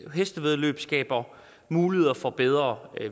hestevæddeløb skaber muligheder for bedre